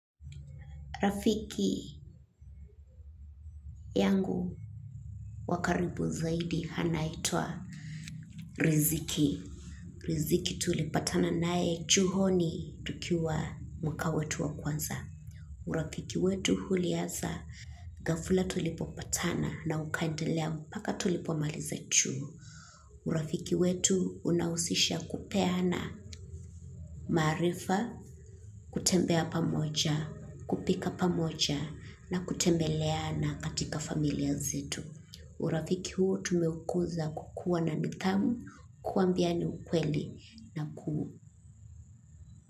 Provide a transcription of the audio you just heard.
Rafiki yangu wa karibu zaidi anaitwa Riziki. Riziki tulipatana nae chuhoni tukiwa mwaka wetu wa kwanza. Urafiki wetu ulianza gafla tulipopatana na ukandelea mpaka tulipomaliza chuo. Urafiki wetu unausisha kupeana maarifa. Kutembea pamoja, kupika pamoja na kutembeleana katika familia zetu. Urafiki huo tumeukuza kukuwa na nithamu kuambiani ukweli na kuu.